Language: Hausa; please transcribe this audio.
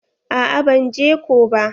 A'a ban je ko ba.